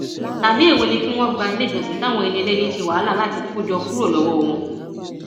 tàbí èwo ni kí wọn gba iléèjọsìn tí àwọn ẹni ẹlẹni ṣe wàhálà láti kó jọ kúrò lọwọ wọn